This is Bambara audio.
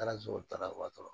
Taara sotarawa